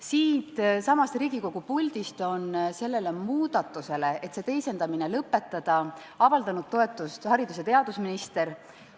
Siitsamast Riigikogu puldist on ettepanekule see teisendamine lõpetada avaldanud toetust haridus- ja teadusminister.